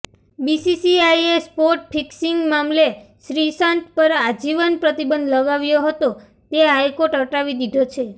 બીસીસીઆઈએ spot fixing મામલે શ્રીસંત પર આજીવન પ્રતિબંધ લગાવ્ય હતો તે હાઈકોર્ટે હટાવી લીધો છે